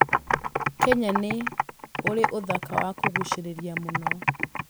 Kenya nĩ ũrĩ ũthaka wa kũguucĩrĩria mũno.